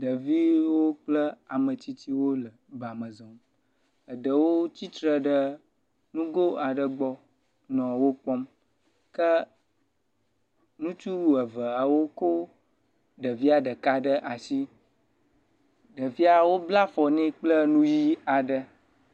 Ɖeviwo kple ame tsitsiwo le bame zɔm. Eɖewo tsi tre ɖe ŋgɔ aɖe gb nɔ wo kpɔm ke ŋutsu eveawo ko ɖevia ɖeka ɖe asi. Ɖevia, wobla afɔ nɛ kple nu ʋi aɖe.